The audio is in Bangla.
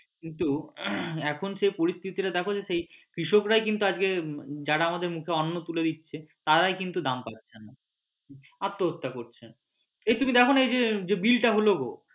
কিন্তু এখন সেই পরিস্থিতি টা দেখো যে সেই কৃষক রাই কিন্তু আজকে যারা আমাদের মুখে অন্ন তুলে দিচ্ছে তারাই কিন্তু দাম পাচ্ছে না আত্ম্যহত্যা করছে এ তুমি দেখনা এই যে bill টা হল গো